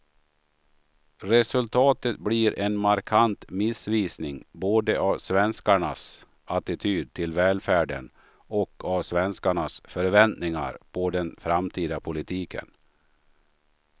Resultatet blir en markant missvisning både av svenskarnas attityd till välfärden och av svenskarnas förväntningar på den framtida politiken.